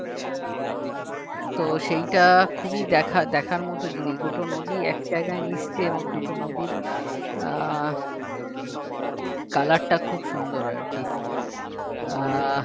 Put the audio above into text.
তো সেইটা খুবই দেখা দেখার মত জিনিস দুটো নদী এক জায়গায় মিশছে এবং দুটো নদীর আহ color টা খুব সুন্দর আর কি আহ